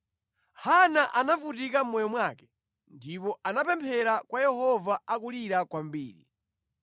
Hana anavutika mʼmoyo mwake, ndipo anapemphera kwa Yehova akulira kwambiri.